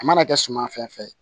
A mana kɛ suma fɛn fɛn ye